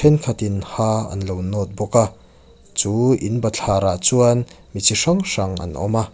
thenkhat in ha anlo nawt bawk a chu in bathlar ah chuan mi chi hrang hrang an awm a.